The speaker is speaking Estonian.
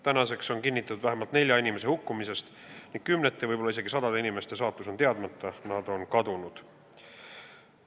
Tänaseks on kinnitatud vähemalt nelja inimese hukkumine ning kümnete, võib-olla isegi sadade inimeste saatus on teadmata, nad on kadunud.